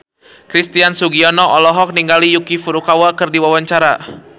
Christian Sugiono olohok ningali Yuki Furukawa keur diwawancara